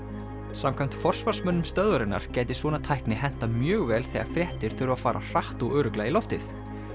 samkvæmt forsvarsmönnum stöðvarinnar gæti svona tækni hentað mjög vel þegar fréttir þurfa að fara hratt og örugglega í loftið